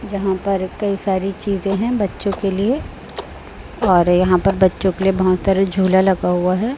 जहां पर कई सारी चीजें हैं बच्चों के लिए और यहां पर बच्चों के लिए बहोत सारे झूला लगा हुआ हैं।